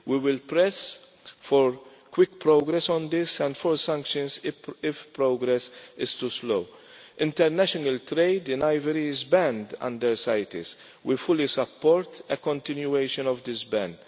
We will press for quick progress on this and for sanctions if progress is too slow. International trade in ivory is banned under CITES. We fully support a continuation of the ban.